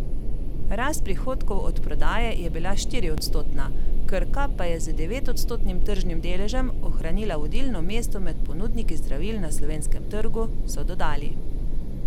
Rast prihodkov od prodaje je bila štiriodstotna, Krka pa je z devetodstotnim tržnim deležem ohranila vodilno mesto med ponudniki zdravil na slovenskem trgu, so dodali.